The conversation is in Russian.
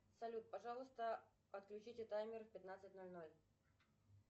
салют пожалуйста отключите таймер в пятнадцать ноль ноль